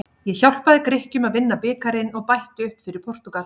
Ég hjálpaði Grikkjum að vinna bikarinn og bætti upp fyrir Portúgal.